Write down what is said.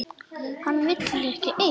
Hana vil ég eiga ein.